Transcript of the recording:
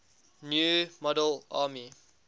new model army